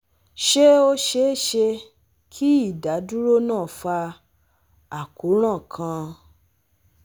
Ṣe o ṣee ṣe ki idaduro naa fa akoran kan?